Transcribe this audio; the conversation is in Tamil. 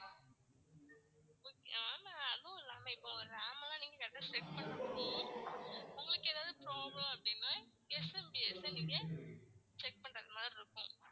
ma'am அதுவும் இல்லாம இப்போ RAM எல்லாம் நீங்க check பண்றப்போ உங்களுக்கு ஏதாவது problem நீங்க check பண்றது மாதிரி இருக்கும்